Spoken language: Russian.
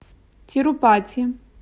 тирупати